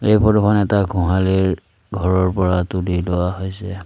এই ফটোখন এটা গোহালিৰ ঘৰৰ পৰা তোলি লোৱা হৈছে।